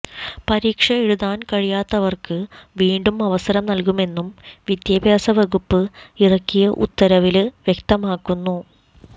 പരീക്ഷ എഴുതാന് കഴിയാത്തവര്ക്ക് വീണ്ടും അവസരം നല്കുമെന്നും വിദ്യാഭ്യാസ വകുപ്പ് ഇറക്കിയ ഉത്തരവില് വ്യക്തമാക്കുന്നു